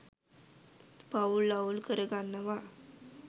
පවුල් අවුල් කර ගන්නවා.